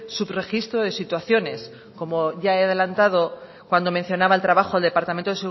subregistro de situaciones como ya he adelantado cuando mencionaba el trabajo el departamento